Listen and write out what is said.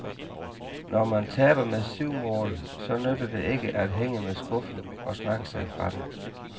Når man taber med syv mål, så nytter det ikke at hænge med skuffen og snakke sig fra det.